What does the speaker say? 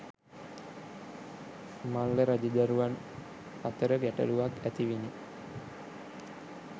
මල්ල රජදරුවන් අතර ගැටලුවක් ඇතිවිණි.